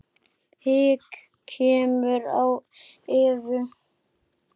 Hik kemur á Evu.